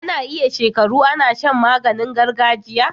Ana iya shekaru Ana Shan maganin gargajiya